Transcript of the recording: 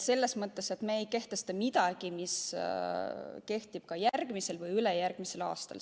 Me ei kehtesta midagi, mis kehtib ka järgmisel või ülejärgmisel aastal.